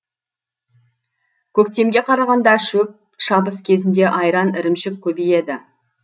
көктемге қарағанда шөп шабыс кезінде айран ірімшік көбейеді